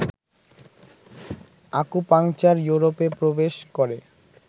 acupuncture ইউরোপে প্রবেশ করে